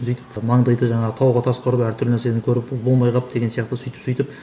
сөйтіп і маңдайды жаңағы тауға тасқа ұрып әртүрлі нәрсені көріп болмай қалып деген сияқты сөйтіп сөйтіп